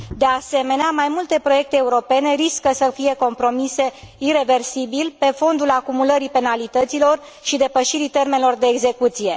De asemenea, mai multe proiecte europene riscă să fie compromise ireversibil, pe fondul acumulării penalităților și depășirii termenelor de execuție.